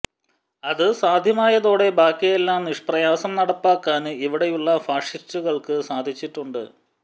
അത് സാധ്യമായതോടെ ബാക്കിയെല്ലാം നിഷ്പ്രയാസം നടപ്പാക്കാന് ഇവിടെയുള്ള ഫാഷിസ്റ്റുകള്ക്ക് സാധിച്ചിട്ടുണ്ട്